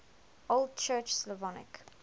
old church slavonic